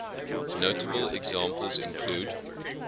notable examples include